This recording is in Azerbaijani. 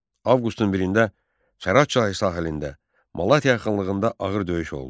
Avqustun 1-də Çarah çayı sahilində Malatya yaxınlığında ağır döyüş oldu.